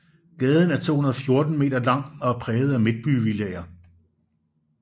Gaden er 214 meter lang og præget af midtbyvillaer